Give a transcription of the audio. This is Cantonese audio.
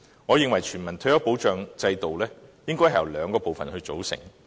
我認為全民退休保障制度應由兩個部分組成。